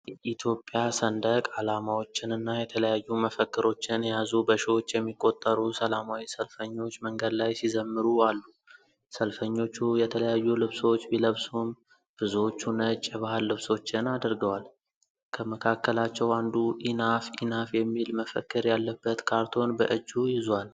የኢትዮጵያ ሰንደቅ ዓላማዎችንና የተለያዩ መፈክሮችን የያዙ በሺዎች የሚቆጠሩ ሰላማዊ ሰልፈኞች መንገድ ላይ ሲዘምሩ አሉ። ሰልፈኞቹ የተለያዩ ልብሶች ቢለብሱም፣ ብዙዎቹ ነጭ የባህል ልብሶችን አድርገዋል። ከመካከላቸው አንዱ "ኢናፍ ኢናፍ" የሚል መፈክር ያለበት ካርቶን በእጁ ይዟል።